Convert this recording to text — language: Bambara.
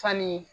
Fani